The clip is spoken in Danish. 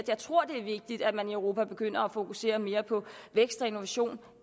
jeg tror det er vigtigt at man i europa begynder at fokusere mere på vækst og innovation